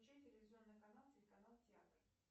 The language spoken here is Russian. включи телевизионный канал телеканал театр